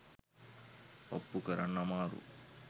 ඔප්පු කරන්න අමාරු.